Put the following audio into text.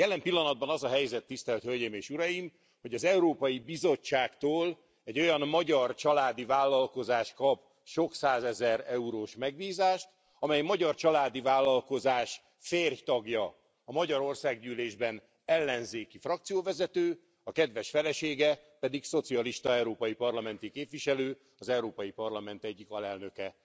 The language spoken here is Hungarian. Jelen pillanatban az a helyzet, tisztelt hölgyeim és uraim, hogy az Európai Bizottságtól egy olyan magyar családi vállalkozás kap sok százezer eurós megbízást, amely magyar családi vállalkozás férj tagja a magyar Országgyűlésben ellenzéki frakcióvezető, a kedves felesége pedig szocialista európai parlamenti képviselő, az Európai Parlament egyik alelnöke.